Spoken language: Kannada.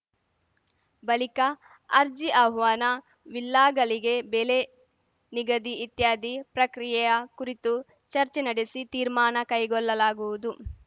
ಬಲಿಕ ಅರ್ಜಿ ಆಹ್ವಾನ ವಿಲ್ಲಾಗಲಿಗೆ ಬೆಲೆ ನಿಗದಿ ಇತ್ಯಾದಿ ಪ್ರಕ್ರಿಯೆಯ ಕುರಿತು ಚರ್ಚೆ ನಡೆಸಿ ತೀರ್ಮಾನ ಕೈಗೊಲ್ಲಲಾಗುವುದು